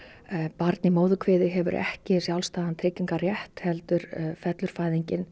barn í móðurkviði hefur ekki sjálfstæðan heldur fellur fæðingin